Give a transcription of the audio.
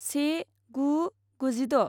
से गु गुजिद'